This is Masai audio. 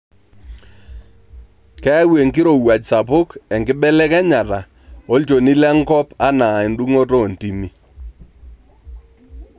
Keyau enkirowuaj sapuk enkibelekenyata olchoni lenkop anaa endung'oto oontimi.